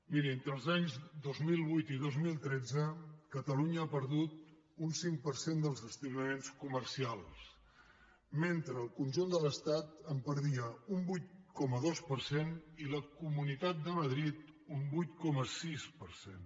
miri entre els anys dos mil vuit i dos mil tretze catalunya ha perdut un cinc per cent dels establiments comercials mentre el conjunt de l’estat en perdia un vuit coma dos i la comunitat de madrid un vuit coma sis per cent